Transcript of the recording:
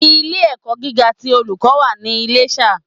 Ilé ẹ̀kọ́ gíga ti Olùkọ́ wà ní Iléṣà